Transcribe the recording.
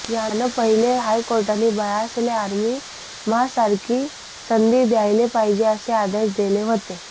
याना पह्यले हायकोर्टनी बायासले आर्मी म्हा सारखी संधी द्यायले पाहिजे असे आदेश देल व्हते